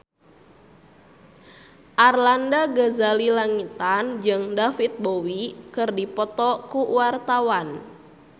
Arlanda Ghazali Langitan jeung David Bowie keur dipoto ku wartawan